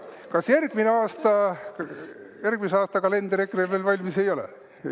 Kas järgmise aasta kalender EKRE-l veel valmis ei ole?